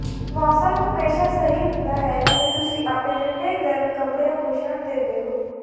ਮੌਸਮ ਹਮੇਸ਼ਾ ਸਹੀ ਹੁੰਦਾ ਹੈ ਅਤੇ ਤੁਸੀਂ ਆਪਣੇ ਠੰਢੇ ਗਰਮ ਕਪੜਿਆਂ ਨੂੰ ਛੱਡ ਦਿੰਦੇ ਹੋ